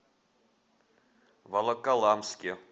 волоколамске